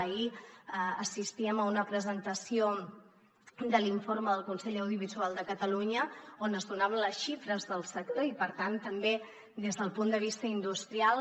ahir assistíem a una presentació de l’informe del consell de l’audiovisual de catalunya on es donaven les xifres del sector i per tant també des del punt de vista industrial